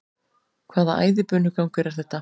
Hvaða æðibunugangur er þetta?